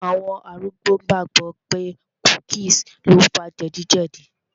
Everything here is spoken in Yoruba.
Àwọn arúgbó gbàgbọ̀ pé cookies lo fa jẹ̀díjẹ̀dí